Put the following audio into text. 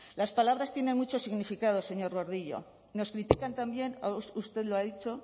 las palabras tienen mucho significado señor gordillo nos critican también usted lo ha dicho